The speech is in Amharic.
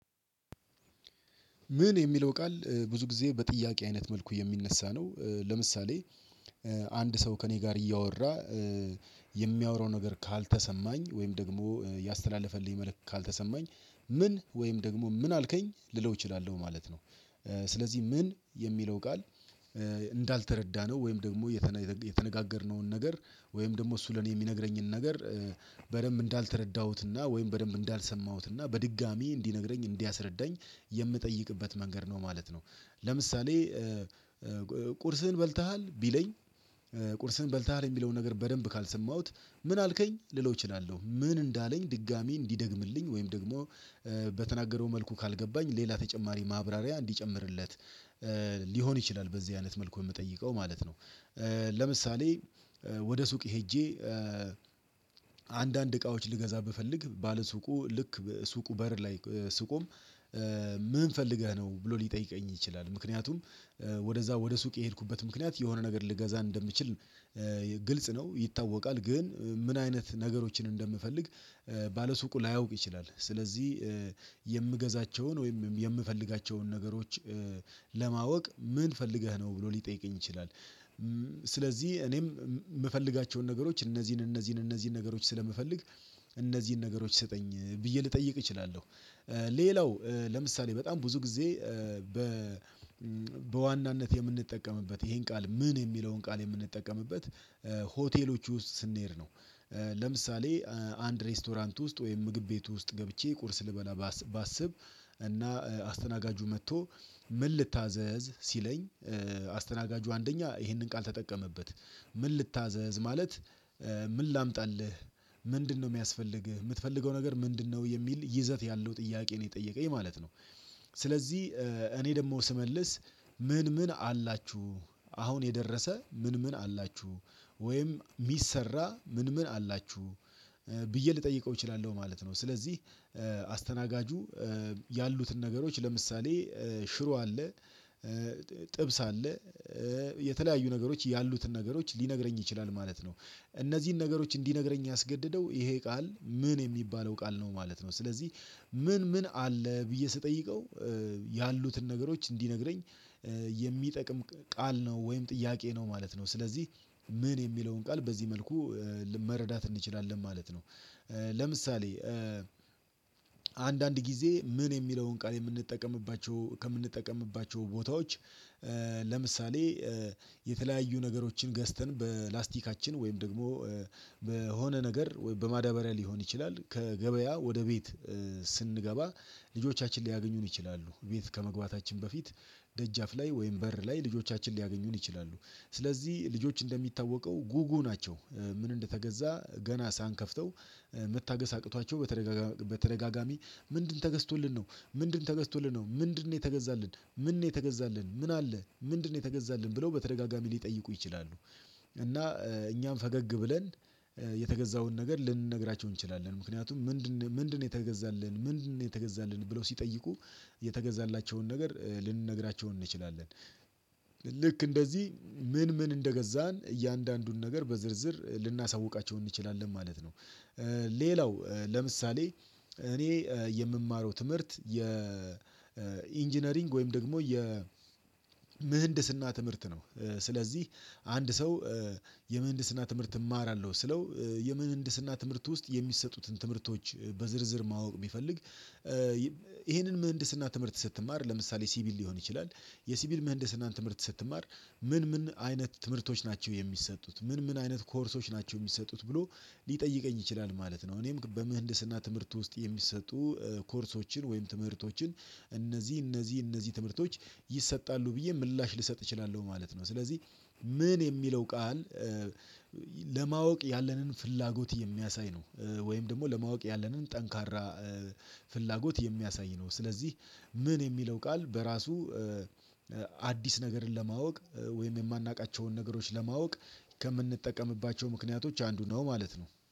ምን የሚለው ቃል ብዙ ጊዜ በጥያቄ አይነት መልኩ የሚነሳ ነው። ለምሳሌ አንድ ሰው ከእኔ ጋር እያወራ የሚያወራው ነገር ካልተሰማኝ ወይም ደግሞ ያስተላለፈልኝ መልእክት ካልተሰማኝ ምን? ወይም ደግሞ ምን አልከኝ? ልለው እችላለሁ ማለት ነው። ስለዚህ ምን የሚለው ቃል እንዳልተረዳነው ወይም ደግሞ የተነጋገርነውን ነገር ወይም ደግሞ እሱ ለኔ የሚነግረኝን ነገር በደንብ እንዳልተረዳሁትና ወይም በደንብ እንዳልሰማሁትና በድጋሚ እንዲነግረኝ እንዲያስረዳኝ የምጠይቅበት መንገድ ነው ማለት ነው። ለምሳሌ ቁርስህን በልተሃል? ቢለኝ ቁርስህን በልተሃል የሚለውን ነገር በደንብ ካልሰማሁት ምን አልከኝ? ልለው እችላለሁ። ምን እንዳለኝ ድጋሚ እንዲደግምልኝ ወይም ደግሞ በተናገረው መልኩ ካልገባኝ ሌላ ተጨማሪ ማብራሪያ እንዲጨምርለት ሊሆን ይችላል። በዚህ አይነት መልኩ የምጠይቀው ማለት ነው። ለምሳሌ ወደ ሱቅ ሄጄ አንዳንድ እቃዎች ልገዛ ብፈልግ ባለሱቁ ልክ ሱቁ በር ላይ ስቆም ምን ፈልገህ ነው? ብሎ ሊጠይቀኝ ይችላል። ምክንያቱም ወደዛ ወደ ሱቅ የሄድኩበት ምክንያት የሆነ ነገር ልገዛ እንደምችል ግልጽ ነው ይታወቃል። ግን ምን አይነት ነገሮችን እንደምፈልግ ባለሱቁ ላያውቅ ይችላል። ስለዚህ የምገዛቸውን ወይም የምፈልጋቸውን ነገሮች ለማወቅ ምን ፈልገህ ነው? ብሎ ሊጠይቀኝ ይችላል። ስለዚህ እኔም የምፈልጋቸውን ነገሮች እነዚህን፣ እነዚህን፣ እነዚህን ነገሮች ስለምፈልግ እነዚህን ነገሮች ይሰጠኝ? ብዬ ልጠይቅ እችላለሁ። ሌላው ለምሳሌ በጣም ብዙ ጊዜ በ በዋናነት የምንጠቀምበት ይሄን ቃል ምን? የሚለውን ቃል የምንጠቀምበት ሆቴሎች ውስጥ ስንሄድ ነው። ለምሳሌ አንድ ሬስቶራንት ውስጥ ወይም ምግብ ቤት ውስጥ ገብቼ ቁርስ ልበላ ባስብ እና አስተናጋጁ መጥቶ ምን ልታዘዝ? ሲለኝ አስተናጋጁ አንደኛ ይሄንን ቃል ተጠቀመበት ምን ልታዘዝ? ማለት ምን ላምጣልህ? ምንድነው የሚያስፈልግህ? የምትፈልገው ነገር ምንድነው? የሚል ይዘት ያለው ጥያቄ ነው የጠየቀኝ ማለት ነው። ስለዚህ እኔ ደግሞ ስመልስ ምን ምን አላችሁ? አሁን የደረሰ ምን ምን አላችሁ? ወይም የሚሰራ ምን ምን አላችሁ? ብዬ ልጠይቀው እችላለሁ ማለት ነው። ስለዚህ አስተናጋጁ ያሉትን ነገሮች ለምሳሌ ሽሮ አለ፣ ጥብስ አለ የተለያዩ ነገሮች ያሉትን ነገሮች ሊነግረኝ ይችላል ማለት ነው። እነዚህን ነገሮች እንዲነግረኝ ያስገደደው ይሄ ቃል ምን? የሚባለው ቃል ነው ማለት ነው። ስለዚህ ምን ምን አለ? ብዬ ስጠይቀው ያሉትን ነገሮች እንዲነግረኝ የሚጠቅም ቃል ነው ወይም ጥያቄ ነው ማለት ነው። ስለዚህ ምን? የሚለውን ቃል በዚህ መልኩ መረዳት እንችላለን ማለት ነው። ለምሳሌ አንዳንድ ጊዜ ምን? የሚለውን ቃል የምንጠቀምባቸው ከምንጠቀምባቸው ቦታዎች ለምሳሌ የተለያዩ ነገሮችን ገዝተን በላስቲካችን ወይም ደግሞ በሆነ ነገር ወይም በማዳበሪያ ሊሆን ይችላል ከገበያ ወደ ቤት ስንገባ ልጆቻችን ሊያገኙን ይችላሉ። ቤት ከመግባታችን በፊት ደጃፍ ላይ ወይም በር ላይ ልጆቻችን ሊያገኙን ይችላሉ። ስለዚህ ልጆች እንደሚታወቀው ጉጉ ናቸው። ምን እንደተገዛ ገና ሳንከፍተው መታገስ አቅቷቸው በተደጋጋሚ ምንድን ተገዝቶልን ነው? ምንድን ተገዝቶልን ነው? ምንድነው የተገዛልን? ምን ነው የተገዛልን? ምን አለ? ምንድነው የተገዛልን? ብለው በተደጋጋሚ ሊጠይቁ ይችላሉ። እና እኛም ፈገግ ብለን የተገዛውን ነገር ልንነግራቸው እንችላለን። ምክንያቱም ምንድነው? ምንድነው የተገዛልን? ምንድነው የተገዛልን? ብለው ሲጠይቁ የተገዛላቸውን ነገር ልንነግራቸው እንችላለን። ልክ እንደዚህ ምን ምን እንደገዛን እያንዳንዱን ነገር በዝርዝር ልናሳውቃቸው እንችላለን ማለት ነው። ሌላው ለምሳሌ እኔ የምማረው ትምህርት የኢንጂነሪንግ ወይም ደግሞ የምህንድስና ትምህርት ነው። ስለዚህ አንድ ሰው የምህንድስና ትምህርት እማራለሁ ስለው የምህንድስና ትምህርት ውስጥ የሚሰጡትን ትምህርቶች በዝርዝር ማወቅ ቢፈልግ ይሄንን ምህንድስና ትምህርት ስትማር ለምሳሌ ሲቪል ሊሆን ይችላል፣ የሲቪል ምህንድስናን ትምህርት ስትማር ምን ምን አይነት ትምህርቶች ናቸው የሚሰጡት? ምን ምን አይነት ኮርሶች ናቸው የሚሰጡት? ብሎ ሊጠይቀኝ ይችላል ማለት ነው። እኔም በምህንድስና ትምህርት ውስጥ የሚሰጡ ኮርሶችን ወይም ትምህርቶችን እነዚህ፣ እነዚህ፣ እነዚህ ትምህርቶች ይሰጣሉ ብዬ ምላሽ ልሰጥ እችላለሁ ማለት ነው። ስለዚህ ምን? የሚለው ቃል ለማወቅ ያለንን ፍላጎት የሚያሳይ ነው። ወይም ደግሞ ለማወቅ ያለንን ጠንካራ ፍላጎት የሚያሳይ ነው። ስለዚህ ምን? የሚለው ቃል በራሱ አዲስ ነገርን ለማወቅ ወይም የማናውቃቸውን ነገሮች ለማወቅ ከምንጠቀምባቸው ምክንያቶች አንዱ ነው ማለት ነው።